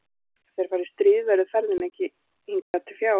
En ef þeir fara í stríð verður ferðin hingað ekki til fjár.